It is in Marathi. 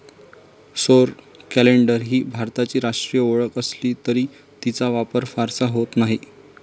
सौर कॅलेंडर ही भारताची राष्ट्रीय ओळख असली तरी तिचा वापर फारसा होत नाही.